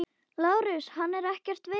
LÁRUS: Hann er ekkert veikur.